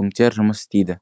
пунктер жұмыс істейді